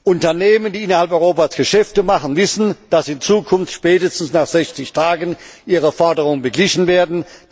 Unternehmen, die innerhalb Europas Geschäfte machen, wissen, dass in Zukunft spätestens nach 60 Tagen ihre Forderungen beglichen werden.